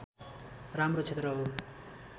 राम्रो क्षेत्र हो